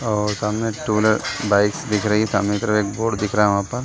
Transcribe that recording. और सामने two wheeler bikes दिख रही है। सामने की तरफ एक बोर्ड दिख रहा है वहां पर।